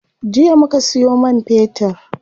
Jiya muka siyo man fetir.